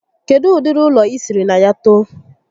Kedụ ụdịrị ụlọ I sịrị na ya too?